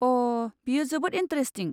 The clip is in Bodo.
अ' बेयो जोबोद इन्टारेस्टिं।